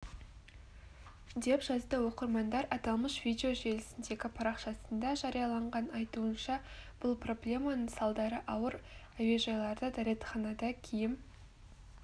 деп жазды оқырмандар аталмыш видео желісіндегі парақшасында жарияланған айтуынша бұл проблеманың салдары ауыр әуежайларда дәретханада киім